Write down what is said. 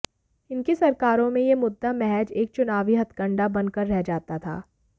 इनकी सरकारों में यह मुद्दा महज एक चुनावी हथकंडा बन कर रह जाता था